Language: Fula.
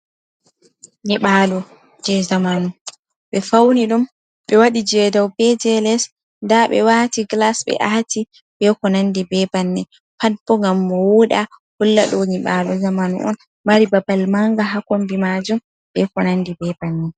Nyiɓaalu je zamanu ɓe fauni ɗum ɓe waɗi je dau be je les nda ɓe wati glas ɓe aati be ko nandi be bannin pat bo ngam mo wuɗa hulla ɗo nyibalu zamanu on mari babal manga ha kombi majum ɓe konandi be bannin.